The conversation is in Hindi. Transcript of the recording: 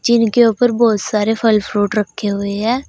इनके ऊपर बहुत सारे फल फ्रूट रखे हुए है।